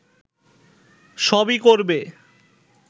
সবই করবে